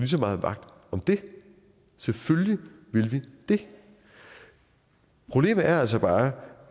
så meget vagt om det selvfølgelig vil vi det problemet er altså bare